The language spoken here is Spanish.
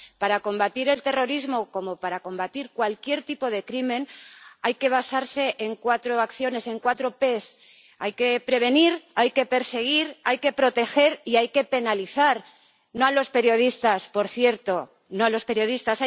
Para combatir el terrorismo, como para combatir cualquier tipo de crimen, hay que basarse en cuatro acciones, en cuatro P hay que prevenir, hay que perseguir, hay que proteger y hay que penalizar —no a los periodistas, por cierto, no a los periodistas—.